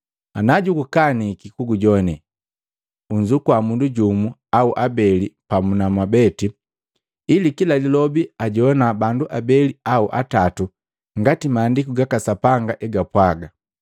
Ana jukaniki kugujowane, unzukua mundu jumu au abeli pamu na wamweti, ili kila lilobi ajowana bandu abeli au atatu ngati Maandiku gaka Sapanga hegapwaga.